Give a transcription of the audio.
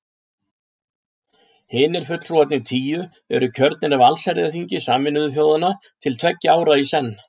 Hinir fulltrúarnir tíu eru kjörnir af allsherjarþingi Sameinuðu þjóðanna til tveggja ára í senn.